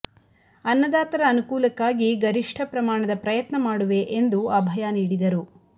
ಅನ್ನದಾತರ ಅನುಕೂಲಕ್ಕಾಗಿ ಗರಿಷ್ಠ ಪ್ರಮಾಣದ ಪ್ರಯತ್ನ ಮಾಡುವೆ ಎಂದು ಅಭಯ ನೀಡಿದರು